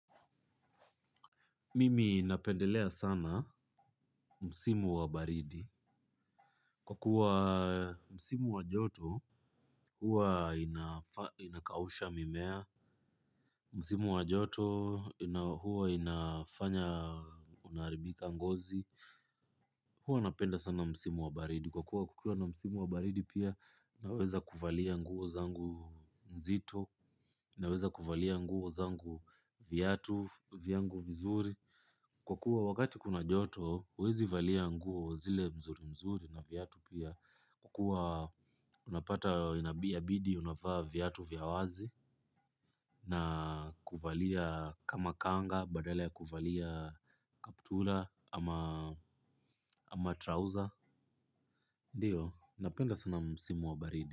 Mimi napendelea sana msimu wa baridi kwa kuwa msimu wa joto hua inakausha mimea, msimu wa joto huwa inafanya unaharibika ngozi, huwa napenda sana msimu wa baridi kwa kuwa kukiwa na msimu wa baridi pia naweza kuvalia nguo zangu nzito, viatu vyangu vizuri. Kwa kuwa wakati kuna joto, huwezi valia nguo zile mzuri mzuri na viatu pia. Kwa kuwa unapata inabidi, unavaa viatu vya wazi. Na kuvalia kama kanga, badala ya kuvalia kaptura ama trouser. Ndiyo, napenda sana msimu wa baridi.